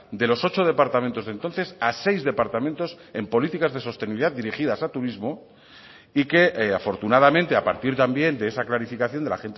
de los ocho departamentos de entonces a seis departamentos en políticas de sostenibilidad dirigidas a turismo y que afortunadamente a partir también de esa clarificación de la